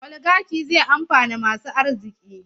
Oligaki zai amfana masu arziki.